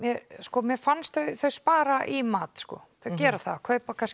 mér fannst þau spara í mat þau kaupa kannski